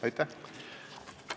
Aitäh!